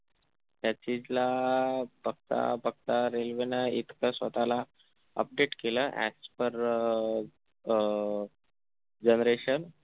त्या चीजला बघता बघता railway न इतकं स्वतःला update केलं as per अं अह generation